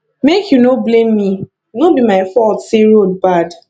make you no blame me no be my fault say road bad